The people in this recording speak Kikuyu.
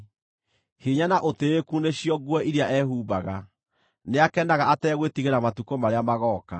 Hinya na ũtĩĩku nĩcio nguo iria ehumbaga; nĩakenaga ategwĩtigĩra matukũ marĩa magooka.